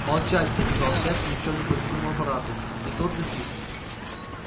молчать приказал шеф ни в чем не повинному аппарату и тот затих